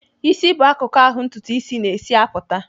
Ịsị bụ akụkụ ahụ ntụtụ isis na-esi apụta.